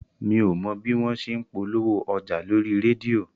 Mi ò mọ bí wọn ṣe ń polówó ọjà lórí rédíò